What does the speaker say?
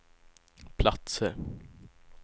platser